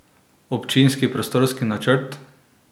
Občinski prostorski načrt?